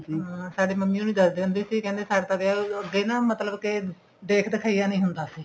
ਹਮ ਸਾਡੇ ਮੰਮੀ ਹੋਣੀ ਦੱਸਦੇ ਹੁੰਦੇ ਸੀ ਕਹਿੰਦੇ ਤਾਂ ਵਿਆਹ ਅੱਗੇ ਨਾ ਮਤਲਬ ਕੇ ਦੇਖ ਦ੍ਖਿਈਆ ਨਹੀਂ ਹੁੰਦਾ ਸੀ